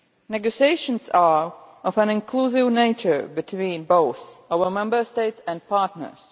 Negotiations are of an inclusive nature between both our Member States and partners.